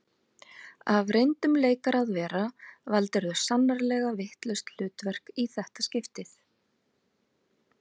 Af reyndum leikara að vera valdirðu sannarlega vitlaust hlutverk í þetta skiptið